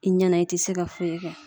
I ɲɛnɛ i te se ka foyi kɛ